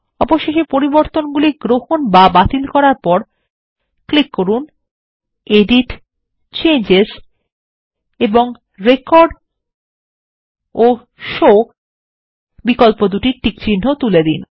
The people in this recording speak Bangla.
অবশেষে পরিবর্তনগুলি গ্রহণ বা বাতিল করার পর ক্লিক করুন এডিটgtgt চেঞ্জেস পরিবর্তন এবং রেকর্ড ও শো বিকল্পদুটির টিকচিহ্ন তুলে দিন